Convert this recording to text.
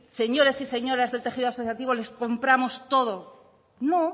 señores y señoras el tejido asociativo les compramos todo no